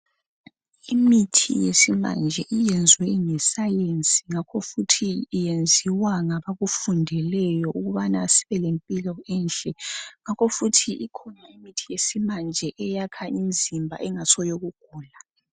Imithi yesimanje iyenzwe ngesayensi ngakho futhi iyenziwa ngabakufundeleyo ukuthi sibelempilo enhle. Ngakho futhi ikhona imithi yesimanje engasiyo yokugula.